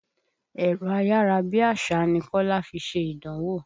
Ẹ̀rọ ayára bí àṣá ni Kọ́lá fi ṣe ìdánwò.